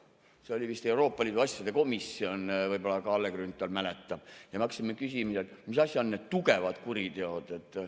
See oli vist Euroopa Liidu asjade komisjon, võib-olla Kalle Grünthal mäletab, ja me hakkasime küsima, et mis asjad on need tugevad kuriteod.